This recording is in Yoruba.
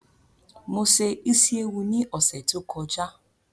Mo se Ísíéwu ni ọ̀sẹ̀ tó kọjá